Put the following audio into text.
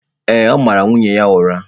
Ee, ọ mara nwunye ya ụra.